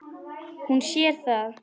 Hún sér það.